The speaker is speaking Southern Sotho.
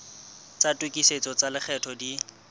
tsa tokisetso tsa lekgetho di